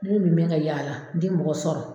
Ne dun bɛ ka yaala n tɛ mɔgɔ sɔrɔ